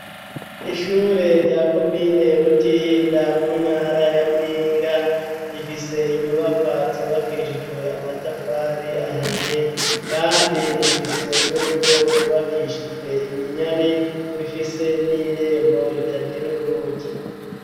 Ishure rya komine Butihinda mu ntara ya Muyinga, rifise inyubakwa zubakishijwe amatafari ahiye, kandi rifise n'urugo rwubakishijwe iminyare, bifise n'irembo ritagira urugi.